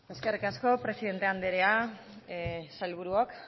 eskerrik asko presidente anderea sailburuok